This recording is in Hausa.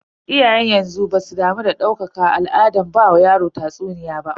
Iyayen yanzu basu damu da ɗaukaka al'adar ba wa yaro tatsuniya ba.